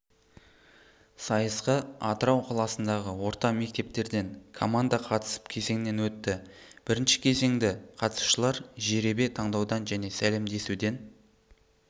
сайысқа атырау қаласындағы орта мектептерден команда қатысып кезеңнен өтті бірінші кезеңді қатысушылар жеребе таңдаудан және сәлемдесуден